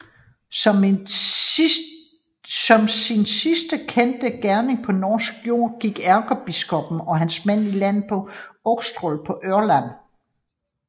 Som sin sidste kendte gerning på norsk jord gik ærkebiskoppen og hans mænd i land på Austrått på Ørland